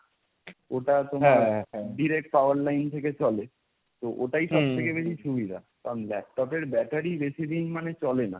ওটা তোমার direct power line থেকে চলে। তো ওটাই সবথেকে বেশি সুবিধা। কারণ, laptop এর battery বেশিদিন মানে চলে না।